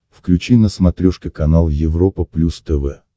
включи на смотрешке канал европа плюс тв